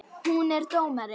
Hún er dómari.